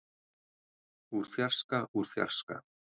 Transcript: úr fjarska úr fjarska.